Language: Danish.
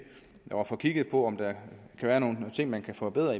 og får kigget på om der kan være nogle ting man kan forbedre